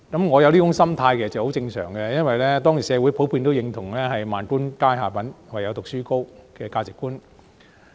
我有這種心態其實很正常，因為當時社會普遍認同"萬般皆下品，唯有讀書高"的價值觀。